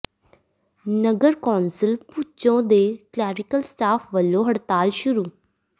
ਨਗਰ council Bhucho ਦੇ clerical staff ਵੱਲੋਂ ਹੜਤਾਲ ਸ਼ੁਰੂ